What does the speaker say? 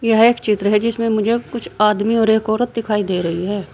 यह एक चित्र है जिसमें मुझे कुछ आदमी और एक औरत दिखाई दे रही हैं।